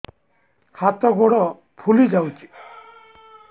ହାତ ଗୋଡ଼ ଫୁଲି ଯାଉଛି